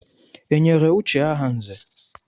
E nyere Uche aha nzè?